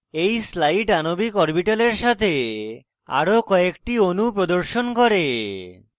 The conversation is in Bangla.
এই স্লাইড আণবিক অরবিটালের সাথে আরো কয়েকটি অণু প্রদর্শন করে